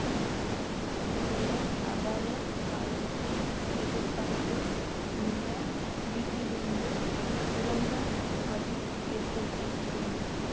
இத்தகைய அபாய காலத்தை எதிர்பார்த்து இந்த வீட்டிலிருந்து சுரங்க வழி ஏற்படுத்தியிருக்கிறேன்